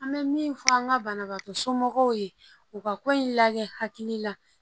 An bɛ min fɔ an ka banabagatɔ somɔgɔw ye u ka ko in lajɛ hakili la